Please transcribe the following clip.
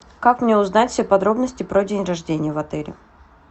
как мне узнать все подробности про день рождение в отеле